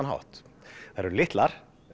hátt þær eru litlar